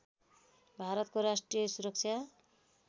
भारतको राष्ट्रिय सुरक्षा